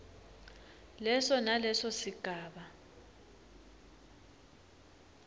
leso naleso sigaba